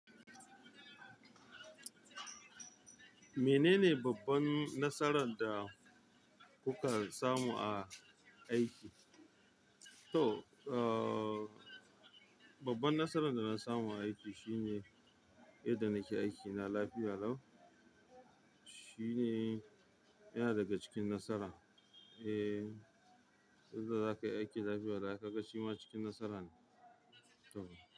Menene babban nasaran da kuka samu a aiki? To, uh, babban nasaran da na samu a aiki shine yadda nake aikina lafiya lau shine yana daga cikin nasara. Eh, yadda zaka yi aiki lafiya lau, ai ka ga shi ma cikin nasara ne. Tam.